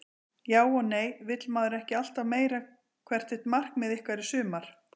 Já og nei vill maður ekki alltaf meira Hvert er markmið ykkar í sumar?